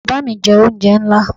Baba mi jẹ onjẹ nla